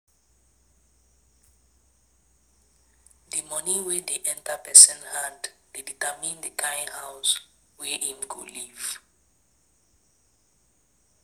Di money wey dey enter person hand dey determine di kimd house wey im go live